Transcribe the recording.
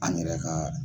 An yɛrɛ ka